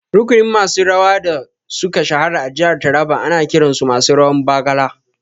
Rukunin masu rawa da suka shahara a jihar Taraba ana kiran su masu rawan Bargalar